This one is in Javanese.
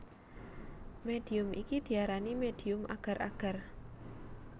Médium iki diarani médium agar agar